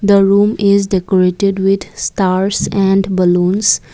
the room is decorated with stars and balloons.